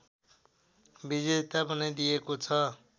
विजेता बनाइदिएको छ